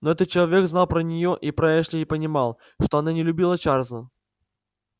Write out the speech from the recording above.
но этот человек знал про нее и про эшли и понимал что она не любила чарлза